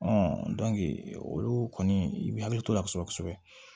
olu kɔni i b'i hakili to ala kosɛbɛ kosɛbɛ